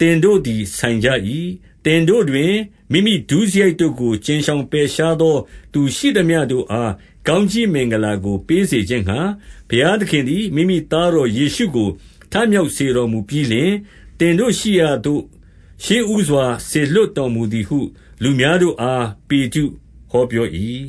သင်တို့သည်ဆိုင်ကြ၏။ 26 သင်တို့တွင် မိမိဒုစရိုက်တို့ကို ကြဉ်ရှောင်ပယ်ရှားသောသူရှိမျှတို့အား ကောင်းကြီးမင်္ဂလာကို ပေးစေ ခြင်းငှါ ဘုရားသခင်မိမိသားတော် ယေရှုကို ထမြောက်စေတော်မူပြီးလျှင်၊ သင်တို့ရှိရာသို့ ရှေးဦးစွာစေလွှတ် တော်မူသည်ဟု လူများတို့အား ပေတရုဟောပြော၏။